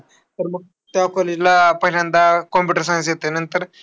तर मग, त्या college ला पहिल्यांदा computer science घेतल्यानंतर